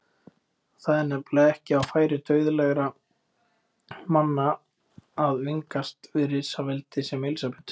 Það er nefnilega ekki á færi dauðlegra manna að vingast við risaveldi sem Elsabetu.